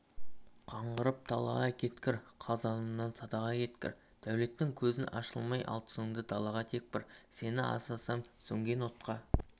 қаңғырып далаға кеткір қазанымнан садаға кеткір дәулеттен көзің ашылмай алтыныңды далаға тепкір сені асасам сөнген отқа